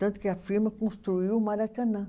Tanto que a firma construiu o Maracanã.